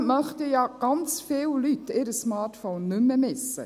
Trotzdem möchten ja ganz viele Leute ihr Smartphone nicht mehr missen.